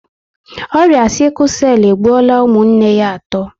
Ọrịa 'sickle cell' egbuola ụmụnne ya atọ